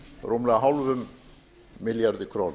rúmlega hálfum milljarði króna